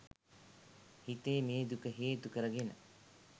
හිතේ මේ දුක හේතු කරගෙන